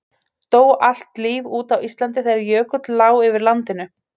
dó allt líf út á íslandi þegar jökull lá yfir landinu